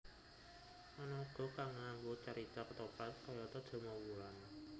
Ana uga kang nganggo carita kethoprak kayata Damarwulan